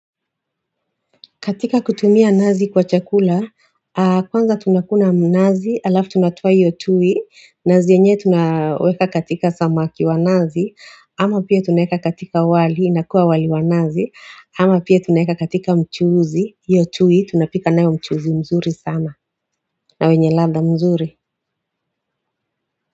Katika kutumia nazi kwa chakula, kwanza tunakuna mnazi, alafu tunatupa iyo tui, nazi yanye tunaweka katika samaki wa nazi, ama pia tuneka katika wali, inakuwa wali wa nazi, ama pia tunaeka katika mchuuzi, iyo tunapika nae wa mchuuzi mzuri sana, na wenye labda mzuri.